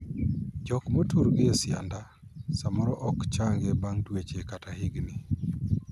Jok motur gi e sianda samoro ok changi bang' dweche kata higni.